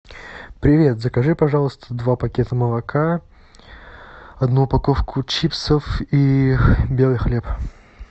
привет закажи пожалуйста два пакета молока одну упаковку чипсов и белый хлеб